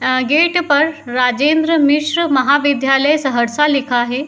अ gate पर राजेंद्र मिश्र महाविद्यालय सहरसा लिखा है।